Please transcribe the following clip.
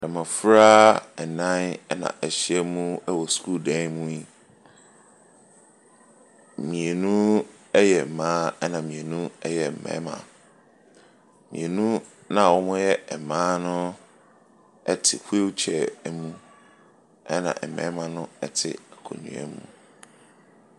Mmɔfra nnan na wɔahyiam wɔ sukuu dan mu yi. Mmienu yɛ mmaa, ɛna mmienu yɛ mmarima. Mmienu no a wɔyɛ mmaa no te wheel chair mu. Ɛna mmarima no te akonnwa mu.